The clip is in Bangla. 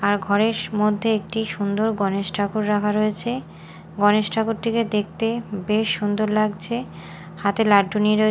আর ঘরের সু মধ্যে একটি সুন্দর গণেশ ঠাকুর রাখা রয়েছে গণেশ ঠাকুরটিকে দেখতে বেশ সুন্দর লাগছে হাতে লাড্ডু নিয়ে রয়ে--